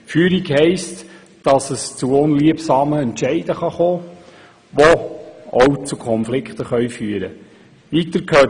Führung heisst, dass es zu unliebsamen Entscheidungen kommen kann, die auch zu Konflikten führen können.